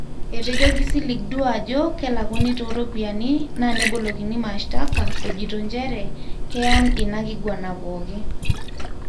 Etejo kisilig duo ajo kelakuni toropiani na nebolokini mastaka ejito njere keiyan inakiguana poki.